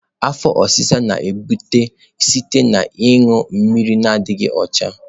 Afo osisa na-ebute site na ịṅụ mmiri adịghị ọcha.